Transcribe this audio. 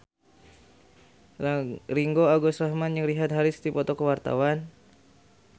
Ringgo Agus Rahman jeung Richard Harris keur dipoto ku wartawan